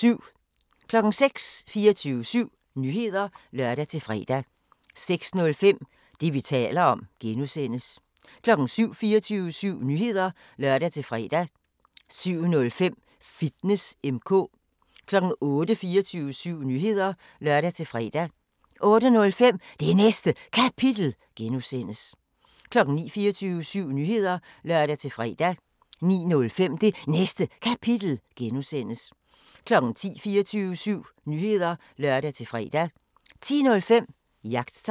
06:00: 24syv Nyheder (lør-fre) 06:05: Det, vi taler om (G) 07:00: 24syv Nyheder (lør-fre) 07:05: Fitness M/K 08:00: 24syv Nyheder (lør-fre) 08:05: Det Næste Kapitel (G) 09:00: 24syv Nyheder (lør-fre) 09:05: Det Næste Kapitel (G) 10:00: 24syv Nyheder (lør-fre) 10:05: Jagttegn